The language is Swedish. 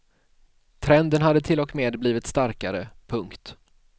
Trenden hade till och med blivit starkare. punkt